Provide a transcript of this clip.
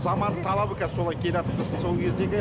заманның талабы солай келатыр біз сол кездегі